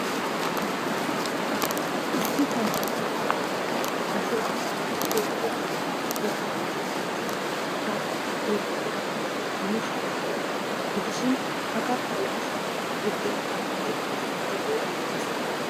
Issi sayiniya bollan ashoy attaakilttee woxeenne donuwaa woxee beettes. Ha attaakilttee gidduwaninne yuushuwan de'iyaagaa gidishin ha kattaa yuushuwan buddeenaa duutti duutti wottoogee beettes.